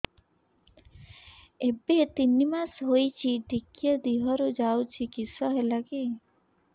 ଏବେ ତିନ୍ ମାସ ହେଇଛି ଟିକିଏ ଦିହରୁ ଯାଉଛି କିଶ ହେଲାକି